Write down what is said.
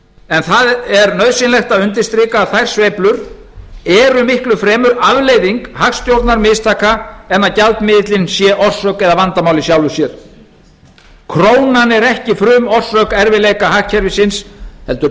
en það er nauðsynlegt að undirstrika að þær sveiflur eru miklu fremur afleiðing hagstjórnarmistaka en að gjaldmiðillinn sé orsök eða vandamál í sjálfu sér krónan er ekki frumorsök erfiðleika hagkerfisins heldur